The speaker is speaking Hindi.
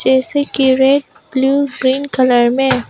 ऐसे की रैक ब्लू ग्रीन कलर में।